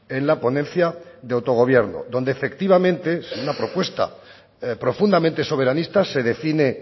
en la ponencia de autogobierno donde efectivamente si una propuesta profundamente soberanista se define